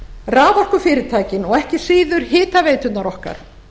raforkufyrirtækin og ekki síður hitaveiturnar okkar